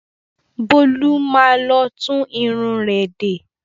Bólú má lọ tún irun rẹ̀ de.